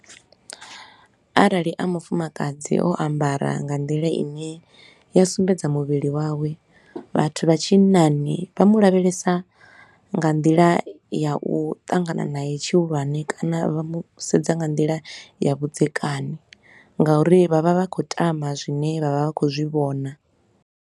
Arali a mufumakadzi o ambara nga nḓila ine ya sumbedza muvhili wawe, vhathu vha tshinnani vha mu lavhelesa nga nḓila ya u ṱangana nae tshihulwane kana vha musedza nga nḓila ya vhudzekani, ngauri vha vha vha khou tama zwine vha vha vha khou zwi vhona.